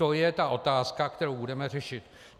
To je ta otázka, kterou budeme řešit.